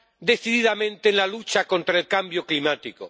decididamente en la lucha contra el cambio climático.